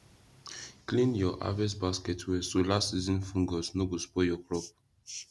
clean your harvest basket well so last season fungus no go spoil your crop